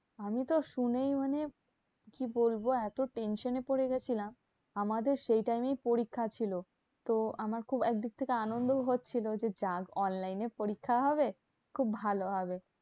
আমি তো শুনেই মানে কি বলবো? এত tension এ পড়েগেছিলাম, আমাদের সেই time এই পরীক্ষা ছিল। তো আমার খুব একদিক থেকে আনন্দ হচ্ছিলো যে যাক online এ পরীক্ষা হবে, খুব ভালো হবে।